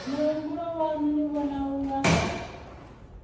muhumbulo waṋu ni vhona unga